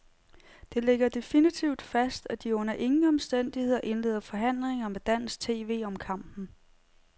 Det ligger definitivt fast, at de under ingen omstændigheder indleder forhandlinger med dansk tv om kampen.